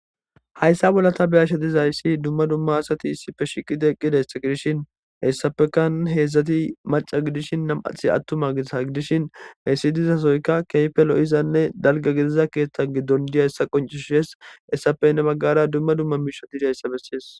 Hayssa bollata beyashsha dizayssi dumma dumma asati issi fe shiqi deeqqi dessi gidishin hessapekan heedzdzati maca gidishin nam'athi attuma giisa gidishin heessi dizasoyka keypelo'izanne dalga gidiza keeththa giddon diya hessa qoncishees hessapenne baggara dumma dumma miisha dida hessa bessees